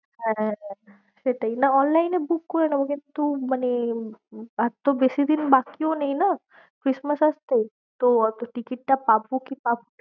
হ্যাঁ সেটাই না online এ book করে নেবো, কিন্তু মানে আর তো বেশিদিন বাকিও নেই না Christmas আসতে, তো অতো ticket টা পাবো কি পাবো না।